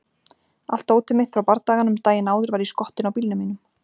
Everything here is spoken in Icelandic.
Allt dótið mitt frá bardaganum daginn áður var í skottinu á bílnum mínum.